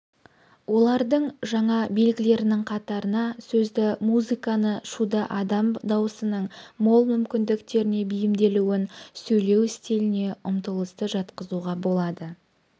олардың жаңа белгілерінің қатарына сөзді музыканы шуды адам даусының мол мүмкіндіктеріне бейімделуін сөйлеу стиліне ұмтылысты жатқызуға болады